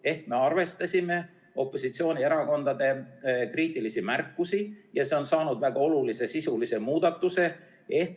Ehk me arvestasime opositsioonierakondade kriitilisi märkusi ja eelnõu on saanud väga olulise sisulise muudatuse.